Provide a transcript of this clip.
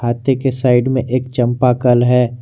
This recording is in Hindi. हत्थी के साइड में एक चंपा कल है।